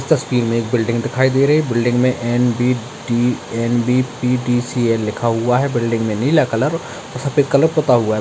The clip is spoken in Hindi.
इस तस्वीर में एक बिल्डिंग दिखाई दे रही है बिल्डिंग में एन.बी.टी. एन.बी.पी.टी.सी.एल. लिखा हुआ है बिल्डिंग में नीला कलर और सफेद कलर पूता हुआ है।